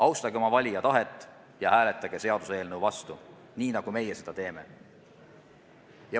Austage oma valija tahet ja hääletage seaduseelnõu vastu, nii nagu meie seda teeme.